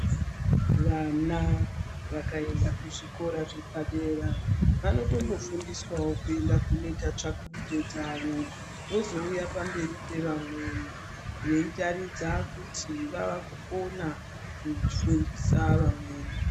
Vana vakaenda kuzvikora zvepadera vanotombofundiswawo kuenda kunoita tsvakurudzo dzavo, vozouya pamberi pevamweni ,veitaridza kuti vavakugona kufundisa amweni.